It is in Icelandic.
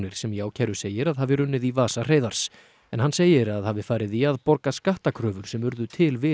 sem í ákæru segir að hafi runnið í vasa Hreiðars en hann segir að hafi farið í að borga skattakröfur sem urðu til við